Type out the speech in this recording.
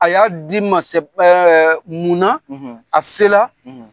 A y'a di n ma mun na a se la.